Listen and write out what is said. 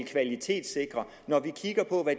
kvalitetssikre når vi kigger på